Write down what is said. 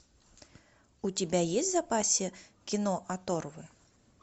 у тебя есть в запасе кино оторвы